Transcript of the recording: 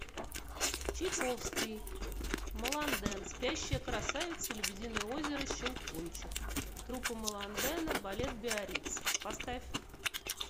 чайковский маланден спящая красавица лебединое озеро щелкунчик труппа маландена балет биариц поставь